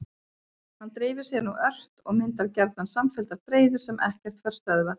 Hann dreifir sér nú ört og myndar gjarnan samfelldar breiður sem ekkert fær stöðvað.